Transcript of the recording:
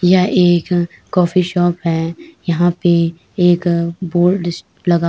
यह एक coffee shop है। यहाँ पे एक बोर्ड श लगा --